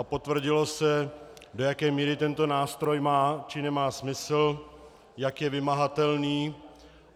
A potvrdilo se, do jaké míry tento nástroj má, či nemá smysl, jak je vymahatelný.